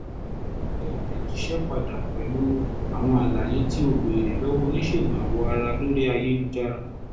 tẹ àtẹ̀jíṣẹ́ padà pẹ̀lú àwọn àlàyé tí o béèrè lọ́wọ́ oníṣègùn awọ ara lórí ayélujára